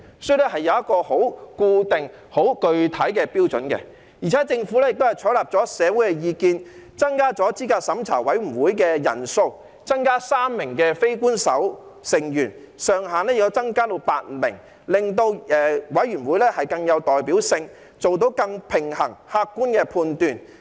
所以，這是有一個很固定、很具體的標準，而且政府亦採納了社會的意見，增加資審會的人數，加入3名非官守成員，資審會人數上限增至8名，令資審會更有代表性，以作出更平衡及客觀的判斷。